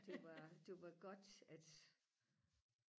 det var det var godt at